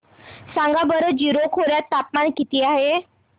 सांगा बरं जीरो खोर्यात तापमान किती आहे